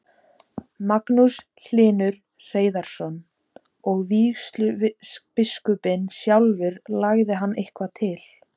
Magnús Hlynur Hreiðarsson: Og vígslubiskupinn sjálfur, lagði hann eitthvað til?